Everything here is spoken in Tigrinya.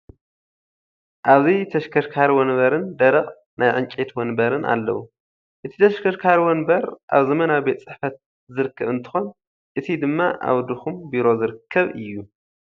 ኣብዚ ተሽከርካሪ ወንበርን ደረቕ ናይ ዕንጨይቲ ወንበርን ኣለዉ፡፡ እቲ ተሽከርካሪ ወንበር ኣብ ዘመናዊ ቤት ፅሕፈት ዝርከብ እንትኾን እቲ ድማ ኣብ ድኹም ቢሮ ዝርከብ እዩ፡፡